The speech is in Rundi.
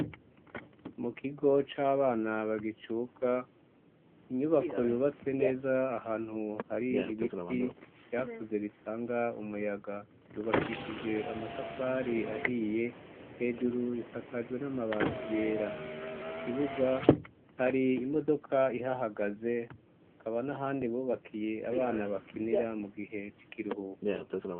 Mu kigo c'abana bagicuka inyubako yubatse neza ahantu hari ibiti vyakuze bitanga umuyaga yubakishije amatafari ahiye hejuru isakajwe n'amabati yera mu kibuga hari imodoka ihahagaze hakaba niahandi bubakiye abana bakinira mu gihecikiruhuku.